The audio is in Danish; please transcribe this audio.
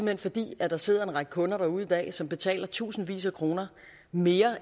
hen fordi der sidder en række kunder derude i dag som betaler tusindvis af kroner mere